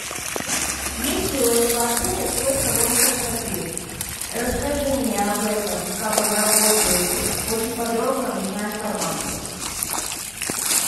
есть ли у этого отеля свой салон красоты расскажи мне об этом как он работает очень подробно нужна информация